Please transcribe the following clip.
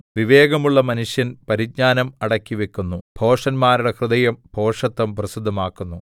വിവേകമുള്ള മനുഷ്യൻ പരിജ്ഞാനം അടക്കിവെക്കുന്നു ഭോഷന്മാരുടെ ഹൃദയം ഭോഷത്തം പ്രസിദ്ധമാക്കുന്നു